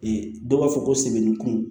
dɔw b'a fɔ ko sɛmɛni kun